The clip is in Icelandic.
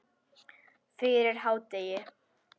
Fyrir hádegi.